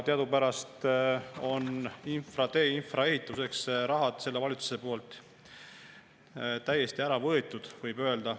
Teadupärast on valitsus infra, teeinfra ehituseks mõeldud raha täiesti ära võtnud, võib öelda.